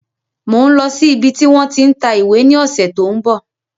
Mòń lọ sí ibi tí wọ́n tí ń ta ìwé ní ọ̀sẹ̀ tí ó ń bọ̀